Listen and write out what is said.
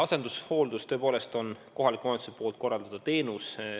Asendushooldus tõepoolest on kohaliku omavalitsuse korraldatav teenus.